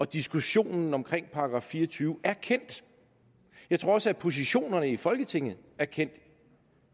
diskussionen om § fire og tyve er kendte jeg tror også at positionerne i folketinget er kendte